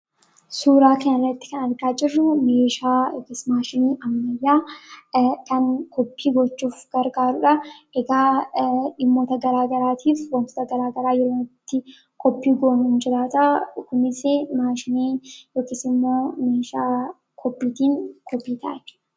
suuraa kana irratti kan argaa jirruu meeshaa maashinii ammeyyaa kan koppii gochuuf gargaaruudha. egaa dhimmoota garaagaraatiif ,wantoota garaagaraa yerooitti kopii goonuu jiraataa dhukumis maashinii ykisimmoo meeshaa kopiitiin gopiitaa